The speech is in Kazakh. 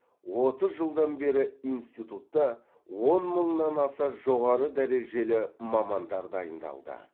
отыз жылдан бері институтта он мыңнан аса жоғары дәрежелі мамандар дайындалды